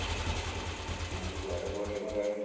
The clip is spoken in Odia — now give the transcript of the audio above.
ଆମେ କୁଆଡେ କୁଆଡେ